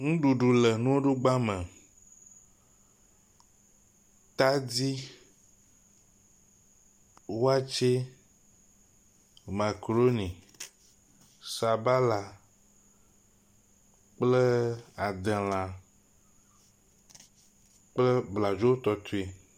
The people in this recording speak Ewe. Nuɖuɖu le nuɖugba me. Tadi, watsɛ, makaɖoni, sabala, kple adelã kple bladzotɔtɔe.